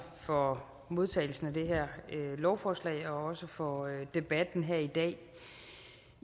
for modtagelsen af det her lovforslag og også tak for debatten her i dag